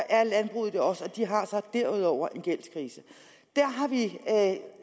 er landbruget det også og de har så derudover en gældskrise der har vi